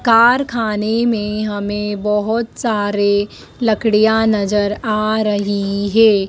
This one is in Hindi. कारखाने में हमें बहोत सारे लकड़िया नजर आ रही है।